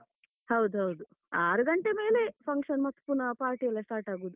ಹೌದು ಹೌದು, ಆರು ಗಂಟೆ ಮೇಲೆಯೇ function ಮತ್ತೆ ಪುನಃ party ಎಲ್ಲ start ಆಗೂದು.